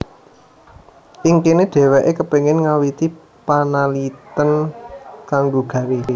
Ing kene dheweke kepingin ngawiti panaliten kanggo gawé